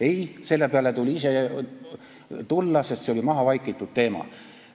Ei, selle peale tuli ise tulla, sest see oli mahavaikitud teema.